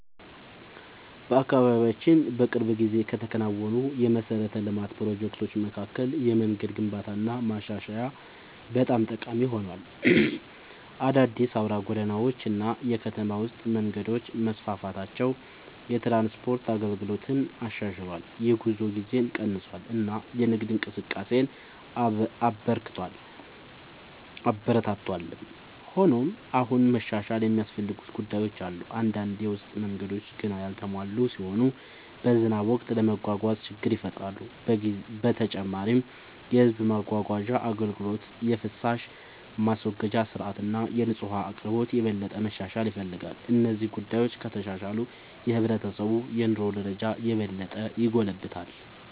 በአካባቢያችን በቅርብ ጊዜ ከተከናወኑ የመሠረተ ልማት ፕሮጀክቶች መካከል የመንገድ ግንባታና ማሻሻያ በጣም ጠቃሚ ሆኗል። አዳዲስ አውራ ጎዳናዎች እና የከተማ ውስጥ መንገዶች መስፋፋታቸው የትራንስፖርት አገልግሎትን አሻሽሏል፣ የጉዞ ጊዜን ቀንሷል እና የንግድ እንቅስቃሴን አበረታቷል። ሆኖም አሁንም መሻሻል የሚያስፈልጉ ጉዳዮች አሉ። አንዳንድ የውስጥ መንገዶች ገና ያልተሟሉ ሲሆኑ በዝናብ ወቅት ለመጓጓዝ ችግር ይፈጥራሉ። በተጨማሪም የሕዝብ ማጓጓዣ አገልግሎት፣ የፍሳሽ ማስወገጃ ሥርዓት እና የንጹህ ውኃ አቅርቦት የበለጠ መሻሻል ይፈልጋሉ። እነዚህ ጉዳዮች ከተሻሻሉ የሕብረተሰቡ የኑሮ ደረጃ የበለጠ ይጎለብታል።